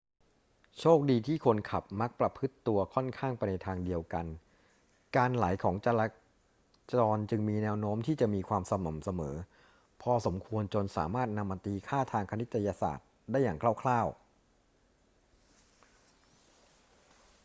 โชคดีที่คนขับมักประพฤติตัวค่อนข้างไปในทางเดียวกัน การไหลของจราจรจึงมีแนวโน้มที่จะมีความสม่ำเสมอพอสมควรจนสามารถนำมาตีค่าทางคณิตศาสตร์ได้อย่างคร่าว ๆ